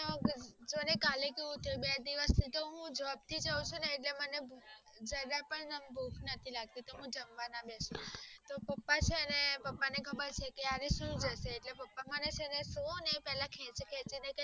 જોને કાલે કેવું થયું બે દિવસ job થી જાવ છુને એટલે હું જરાક પણ ભૂખ નથી લગતી જવા ના બેસું તો પપ્પા ચેને પપ્પા ને ખબર છે પપ્પા ને મને ખેચી ખેચી ને